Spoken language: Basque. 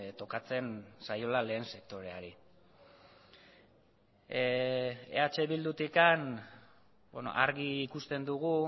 tokatzen zaiola lehen sektoreari eh bildutik argi ikusten dugu